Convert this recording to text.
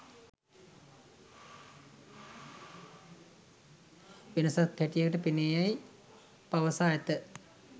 වෙනසක් හැටියට පෙනේ යැයි පවසා ඇත.